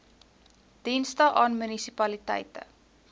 dienste aan munisipaliteite